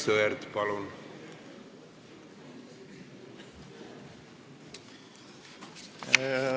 Aivar Sõerd, palun!